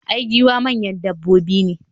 i, giwaye manyan dabbobi ne